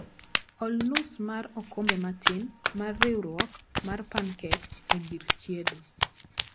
Ol nus mar okombe matin mar riurwok mar pancake e gir chiedo